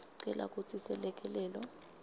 cela kutsi selekelelo